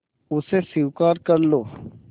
उसे स्वीकार कर लो